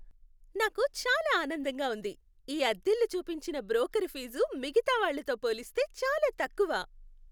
నాకు చాలా ఆనందంగా ఉంది. ఈ అద్దిల్లు చూపించిన బ్రోకరు ఫీజు మిగితా వాళ్ళతో పోలిస్తే చాలా తక్కువ.